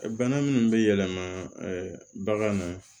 Bana minnu bɛ yɛlɛma bagan na